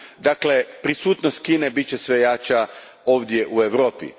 Dakle, prisutnost Kine bit će sve jača ovdje u Europi.